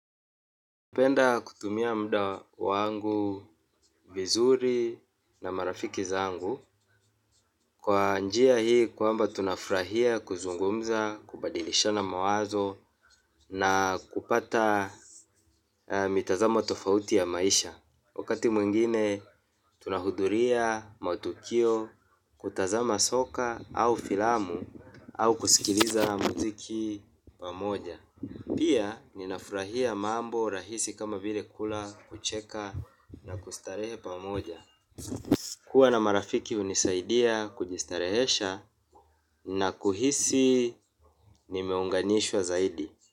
Napenda kutumia muda wangu vizuri na marafiki zangu, kwa njia hii kwamba tunafurahia kuzungumza, kubadilishana mawazo na kupata mitazamo tofauti ya maisha. Wakati mwingine tunahudhuria mautukio, kutazama soka au filamu au kusikiliza mziki pamoja. Pia ninafurahia mambo rahisi kama vile kula kucheka na kustarehe pamoja. Kuwa na marafiki hunisaidia kujistarehesha na kuhisi nimeunganishwa zaidi.